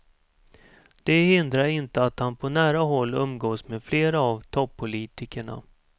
Det hindrar inte att han på nära håll umgås med flera av toppolitikerna.